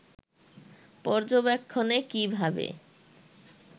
পর্যবেক্ষণে কী ভাবে